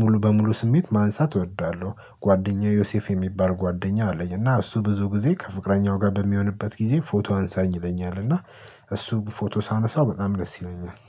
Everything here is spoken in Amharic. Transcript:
ሙሉ በሙሉ ስሜት ማንሳት እወዳለሁ። ጓደኛዬ ዮሴፍ የሚባል ጓደኛ አለኝ እና እሱ ብዙ ጊዜ ከፍቅረኛው ጋር በሚሆንበት ጊዜ ፎቶ አንሳኝ ይለኛል። እና እሱ ፎቶ ሳነሳው በጣም ደስ ይለኛል